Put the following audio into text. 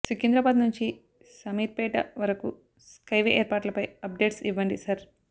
సికింద్రాబాద్ నుంచి శామీర్పేట వరకు స్కైవే ఏర్పాట్లపై అప్డేట్స్ ఇవ్వండి సర్